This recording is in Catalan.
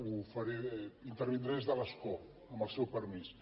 ho faré intervindré des de l’escó amb el seu permís